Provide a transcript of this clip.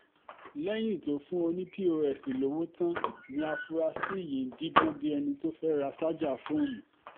lẹ́yìn tó fún oní pos lówó tán ni afunrasí yìí ń díbọ́n bíi ẹni tó fẹ́ ra sájà fóònù